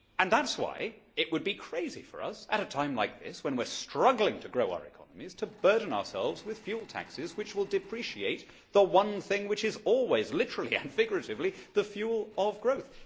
That is why it would be crazy for us, at a time like this, when we are struggling to grow our economies, to burden ourselves with fuel taxes which will depreciate the one thing which is always, literally and figuratively, the fuel of growth.